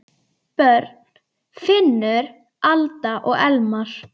Börn: Finnur, Alda og Elmar.